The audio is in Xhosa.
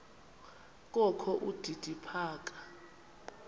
kokho udidi phaka